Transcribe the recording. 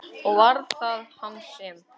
Og var það hann sem.?